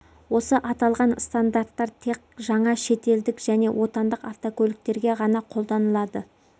осы аталған стандарттар тек жаңа шет елдік және отандық автокөліктерге ғана қолданылады